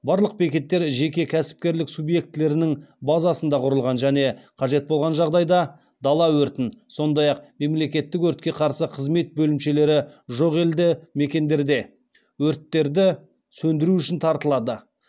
барлық бекеттер жеке кәсіпкерлік субъектілерінің базасында құрылған және қажет болған жағдайда дала өртін сондай ақ мемлекеттік өртке қарсы қызмет бөлімшелері жоқ елді мекендерде өрттерді сөндіру үшін тартылады